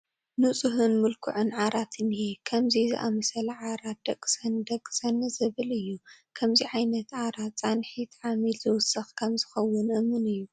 ንፁህን ምልኩዕን ዓራት እኒሀ፡፡ ከምዚ ዝኣምሰለ ዓራት ደቅሰኒ ደቅሰኒ ዝብል እዩ፡፡ ከምዚ ዓይነት ዓራት ፃንሒት ዓሚል ዝውስኽ ከምዝኸውን እሙን እዩ፡፡